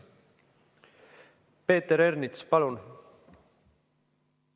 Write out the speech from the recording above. Peeter Ernits, palun!